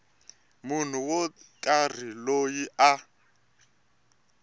munhu wo karhi loyi a